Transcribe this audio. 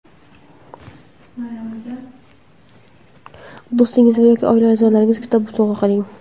Do‘stingizga yoki oila a’zolaringizga kitob sovg‘a qiling.